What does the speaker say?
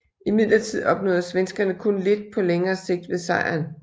Imidlertid opnåede svenskerne kun lidt på længere sigt ved sejren